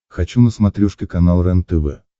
хочу на смотрешке канал рентв